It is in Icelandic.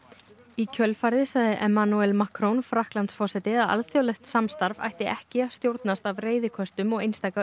í kjölfarið sagði Macron Frakklandsforseti að alþjóðlegt samstarf ætti ekki að stjórnast af reiðiköstum og einstaka